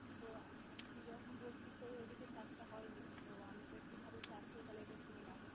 তো তুই যখন বলছিস তোদের ঐদিকে চাষটা হয়নি, তো আমাদের কিভাবে চাষ করি তাহলে একবার শুনে রাখ।